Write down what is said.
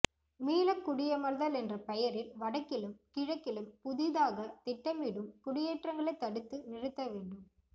மீளக்குடியமர்தல் என்ற பெயரில் வடக்கிலும் கிழக்கிலும் புதிதாக திட்டமிடும் குடியேற்றங்களைத் தடுத்து நிறுத்தவேண்டும்